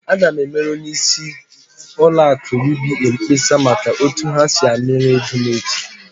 Aga m emere onyeisi ụlọ akụ UBA mkpesa maka otu ha si amịrị ego m echi!